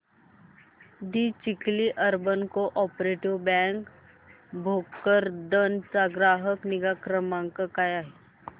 दि Chikhli urban cooperative bank Bhokardan चा ग्राहक निगा क्रमांक काय आहे